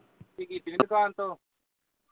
ਛੁੱਟੀ ਕੀਤੀ ਨੀ ਦੁਕਾਨ ਤੋਂ